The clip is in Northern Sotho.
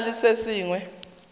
go na le se sengwe